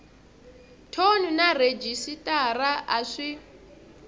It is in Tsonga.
thoni na rhejisitara a swi